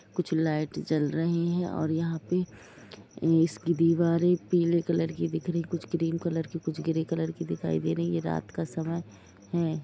कुछ लाइट जल रही है और यहां पे इसके दीवारे पीले कलर की दिख रही है कुछ क्रीम कलर की कुछ ग्रे कलर की दिख रही हैं रात का समय हैं।